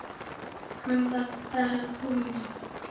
Hann var bara kominn.